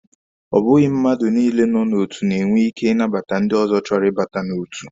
Ọ bụghị mmadụ niile nọ n'otu na-enwe ike ịnabata ndị ọzọ chọrọ ibata n'otu.